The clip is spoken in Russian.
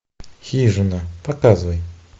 хижина показывай